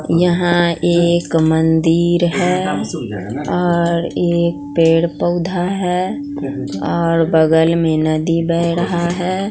यहां एक मंदिर है और एक पेड़ पौधा है और बगल में नदी बह रहा है।